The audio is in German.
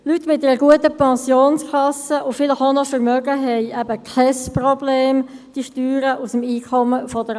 Leute mit einer guten Pensionskasse und vielleicht auch noch Vermögen, haben eben kein Problem, die Steuern aus dem AHV-Einkommen zu bezahlen.